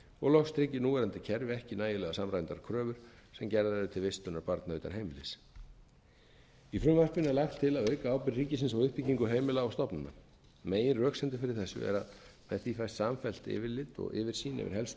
úrræði loks tryggir núverandi kerfi ekki nægilega samræmdar kröfur sem gerðar eru til vistunar barna utan heimilis í frumvarpinu er lagt til að auka ábyrgð ríkisins á uppbyggingu heimila og stofnana megin röksemdin fyrir þessu er að í því fæst samfellt yfirlit og yfirsýn yfir helstu úrræðin sem í